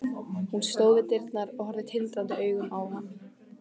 Hún stóð við dyrnar og horfði tindrandi augum á hann.